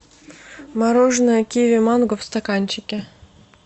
мороженое киви манго в стаканчике